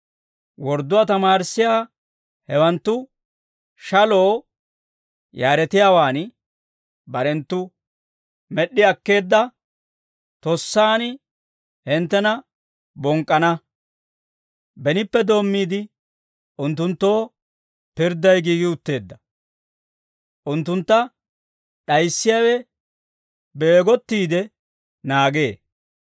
Wordduwaa tamaarissiyaa hewanttu shaloo yaaretiyaawaan barenttu med'd'i akkeedda tossaan hinttena bonk'k'ana; benippe doommiide, unttunttu pirdday giigi utteedda; unttuntta d'ayissiyaawe beegottiide naagee.